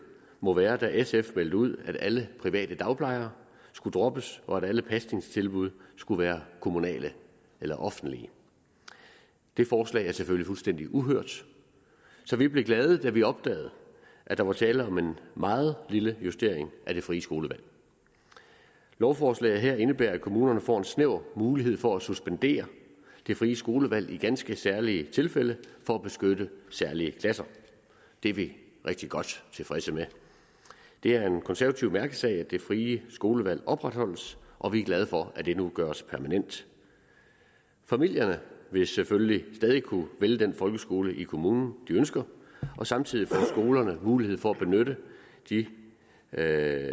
må være da sf meldte ud at alle private dagplejere skulle droppes og at alle pasningstilbud skulle være kommunale eller offentlige det forslag er selvfølgelig fuldstændig uhørt så vi blev glade da vi opdagede at der var tale om en meget lille justering af det frie skolevalg lovforslaget her indebærer at kommunerne får en snæver mulighed for at suspendere det frie skolevalg i ganske særlige tilfælde for at beskytte særlige klasser det er vi rigtig godt tilfredse med det er en konservativ mærkesag at det frie skolevalg opretholdes og vi er glade for at det nu gøres permanent familierne vil selvfølgelig stadig kunne vælge den folkeskole i kommunen de ønsker og samtidig får skolerne mulighed for at